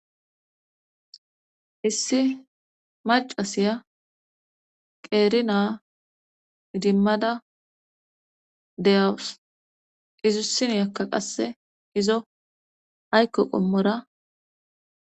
issi macasiya qeeri naa idimmada de7awus izussiniyakka qasse izo haykko qommora.